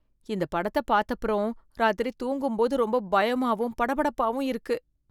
இந்த படத்தை பார்த்தப்புறம், ராத்திரி தூங்கும்போது ரொம்ப பயமாவும் படபடப்பாவும் இருக்கு.